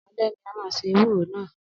Alẹ́ ni a máa se ewúro náà.